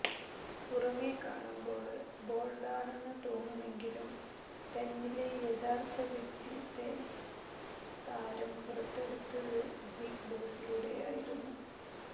പുറമേ കാണുമ്പോള് ബോള്ഡാണെന്ന് തോന്നുമെങ്കിലും തന്നിലെ യഥാര്ത്ഥ വ്യക്തിത്തെ താരം പുറത്തെടുത്തത് ബിഗ് ബോസിലൂടെയായിരുന്നു